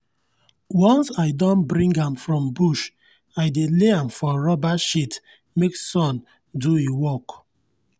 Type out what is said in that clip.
once i don bring am from bush i dey lay am for rubber sheet make sun do e work.